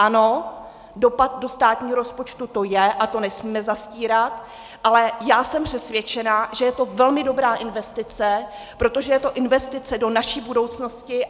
Ano, dopad do státního rozpočtu to je a to nesmíme zastírat, ale já jsem přesvědčena, že je to velmi dobrá investice, protože je to investice do naší budoucnosti.